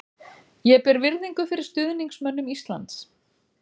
Ég ber virðingu fyrir stuðningsmönnum Íslands.